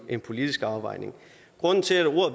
en politisk afvejning grunden til at